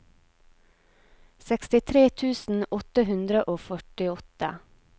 sekstitre tusen åtte hundre og førtiåtte